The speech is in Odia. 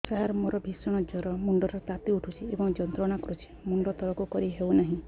ସାର ମୋର ଭୀଷଣ ଜ୍ଵର ମୁଣ୍ଡ ର ତାତି ଉଠୁଛି ଏବଂ ଯନ୍ତ୍ରଣା କରୁଛି ମୁଣ୍ଡ ତଳକୁ କରି ହେଉନାହିଁ